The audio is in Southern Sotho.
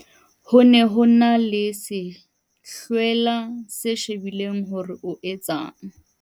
ho ne ho e na le sehlwela se shebile hore o etsang